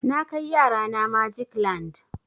Na kai yara na magic land.